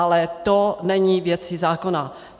Ale to není věcí zákona.